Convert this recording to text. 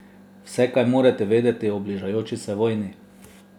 Vse, kar morate vedeti o bližajoči se vojni.